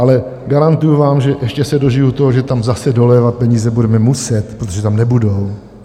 Ale garantuji vám, že ještě se dožiju toho, že tam zase dolévat peníze budeme muset, protože tam nebudou.